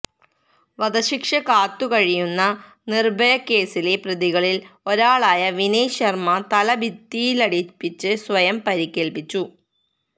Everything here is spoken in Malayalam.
വധശിക്ഷ കാത്തുകഴിയുന്ന നിര്ഭയക്കേസിലെ പ്രതികളില് ഒരാളായ വിനയ് ശര്മ തല ഭിത്തിയിലിടിപ്പിച്ച് സ്വയം പരിക്കേല്പ്പിച്ചു